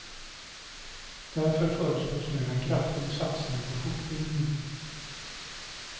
Därför föreslås nu en kraftig satsning på fortbildning.